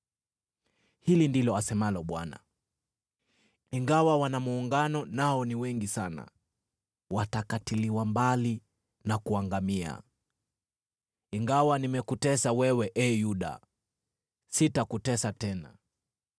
Hili ndilo asemalo Bwana : “Ingawa wana muungano nao ni wengi sana, watakatiliwa mbali na kuangamia. Ingawa nimekutesa wewe, ee Yuda, sitakutesa tena.